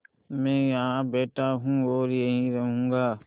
मैं यहाँ बैठा हूँ और यहीं रहूँगा